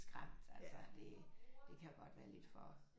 Skræmt altså det det kan godt være lidt for